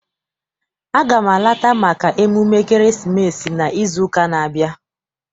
Aga m alata maka emume ekeresimesi n'izu ụka n'abia.